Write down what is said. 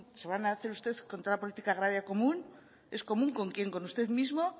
se van a hacer ustedes con toda la política agraria común es común con quién con usted mismo